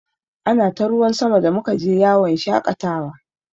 Ana ta ruwan sama da muka je yawon shaƙatawa.